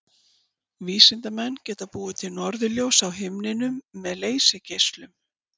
Vísindamenn geta búið til norðurljós á himninum með leysigeislum.